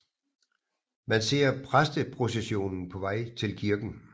Man ser præsteprocessionen på vej til kirken